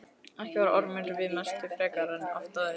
Ekki var Ormur við messu frekar en oft áður.